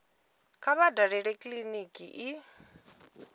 kha vha dalele kiliniki i